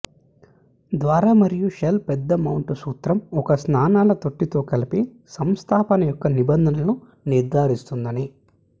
ద్వారా మరియు షెల్ పెద్ద మౌంటు సూత్రం ఒక స్నానాల తొట్టి తో కలిపి సంస్థాపన యొక్క నిబంధనలను నిర్ధారిస్తుందని